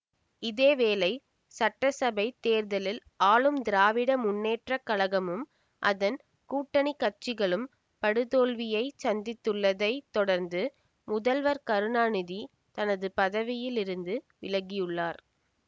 இதே வேளை சட்டசபைத் தேர்தலில் ஆளும் திராவிட முன்னேற்ற கழகமும் அதன் கூட்டணி கட்சிகளும் படுதோல்வியைச் சந்தித்துள்ளதைத் தொடர்ந்து முதல்வர் கருணாநிதி தனது பதவியில் இருந்து விலகியுள்ளார்